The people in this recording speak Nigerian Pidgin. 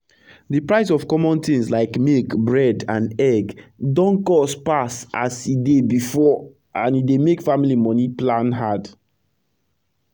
d price of common tins like milk bread and egg don cost pass as e dey before and e dey make family moni plan hard